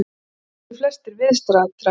Það þekktu flestir viðstaddra.